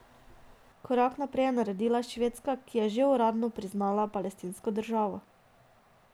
Korak najprej je naredila Švedska, ki je že uradno priznala palestinsko državo.